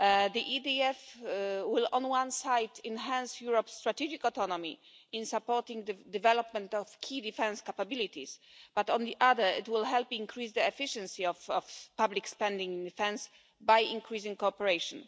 The EDF will on one side enhance Europe's strategic autonomy in supporting the development of key defence capabilities, but on the other it will help increase the efficiency of public spending on defence by increasing cooperation.